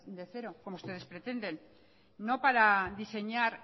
de cero como ustedes pretenden no para diseñar